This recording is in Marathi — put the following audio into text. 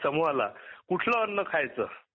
समुहाला कुठल अन्न खायच